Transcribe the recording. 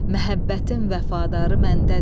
Məhəbbətim vəfadarı məndədir.